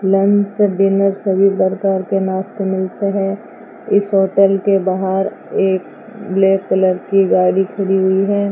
Lunch dinner सभी प्रकार के नाश्ते मिलते हैं इस होटल के बाहर एक ब्लैक कलर की गाड़ी खड़ी हुई है।